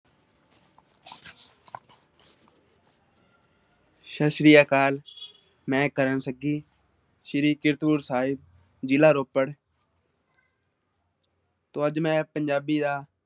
ਸਤਿ ਸ੍ਰੀ ਅਕਾਲ ਮੈਂ ਕਰਨ ਸੱਗੀ ਸ੍ਰੀ ਕੀਰਤਪੁਰ ਸਾਹਿਬ ਜਿਲ੍ਹਾ ਰੋਪੜ ਤੋ ਅੱਜ ਮੈਂ ਪੰਜਾਬੀ ਦਾ